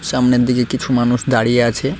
সামনের দিকে কিছু মানুষ দাঁড়িয়ে আছে।